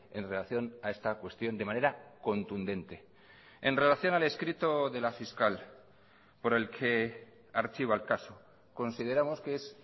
en relación a esta cuestión de manera contundente en relación al escrito de la fiscal por el que archiva el caso consideramos que es